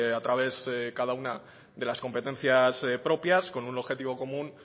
a través cada una de las competencias propias con un objetivo común